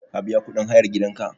Ka biya kuɗin hayar gidanka?